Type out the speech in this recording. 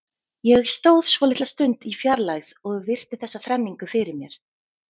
Ég stóð svolitla stund í fjarlægð og virti þessa þrenningu fyrir mér.